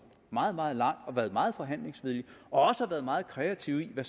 meget meget langt og været meget forhandlingsvillig også meget kreativ med